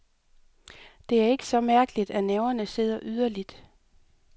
Det er ikke så mærkeligt, at nerverne sidder yderligt.